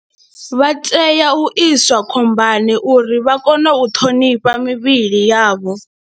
Vha tea u iswa khombani uri vha kone u ṱhonifha mivhili yavho.